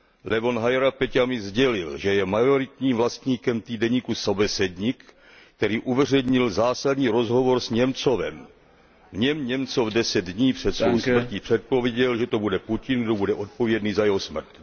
Levon Hajrapeťjan mi sdělil, že je majoritním vlastníkem týdeníku Sobesednik který uveřejnil zásadní rozhovor s Němcovem. V něm Němcov deset dní před svou smrtí předpověděl, že to bude Putin, kdo bude odpovědný za jeho smrt.